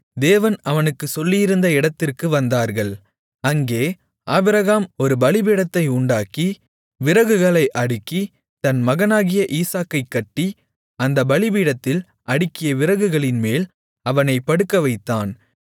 தேவன் அவனுக்குச் சொல்லியிருந்த இடத்திற்கு வந்தார்கள் அங்கே ஆபிரகாம் ஒரு பலிபீடத்தை உண்டாக்கி விறகுகளை அடுக்கி தன் மகனாகிய ஈசாக்கைக் கட்டி அந்தப் பலிபீடத்தில் அடுக்கிய விறகுகளின்மேல் அவனைப் படுக்கவைத்தான்